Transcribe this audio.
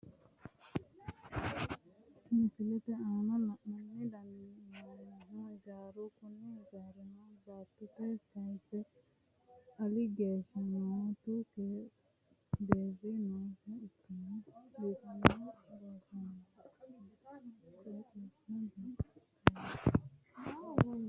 Misilete aana la'ate dandiinnummohu ijaaraho kuni ijaaruno baattotenni kaayse ali geeshsha ontu deerri noosiha ikkanna biiffinse loonsoonnita qooxeessasino biifinsoonnita misile leellishshanno.